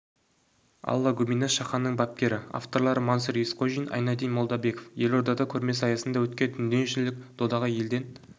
алла губинаш шаханның бапкері авторлары мансұр есқожин айнадин молдабеков елордада көрмесі аясында өткен дүниежүзілік додаға елден